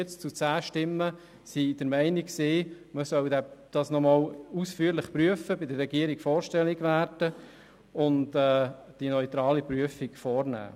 Mit 43 zu 10 Stimmen war man der Meinung, man solle es nochmals ausführlich prüfen, bei der Regierung vorstellig werden, und die neutrale Prüfung vornehmen.